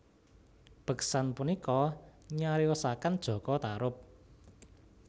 Beksan punika nyariosaken Jaka Tarub